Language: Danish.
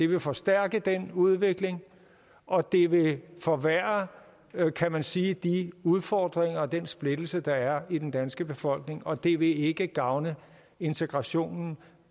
vil forstærke den udvikling og det vil forværre kan man sige de udfordringer og den splittelse der er i den danske befolkning og det vil ikke gavne integrationen